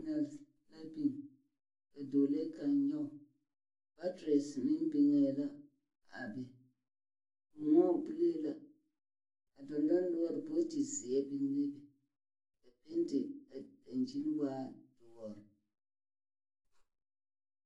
La biŋ, ka dɔɔlee kaŋ nyɔge. Materes meŋ biŋee la a be. Moɔ bulee la. Dɔndɔnoɔre bootizeɛ biŋee be. A penti dankyin waa doɔr.